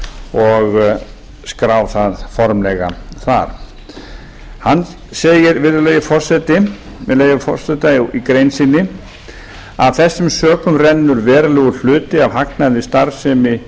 og skrá það formlega þar hann segir virðulegi forseti með leyfi forseta í grein sinni af þessum sökum rennur verulegur hluti af hagnaði